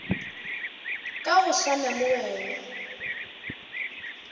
ka go swana le wena